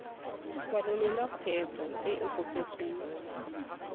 kwalolola kgwebo e e kopetsweng